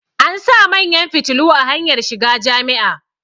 an sa manyan fitilu a hanyar shiga Jami'a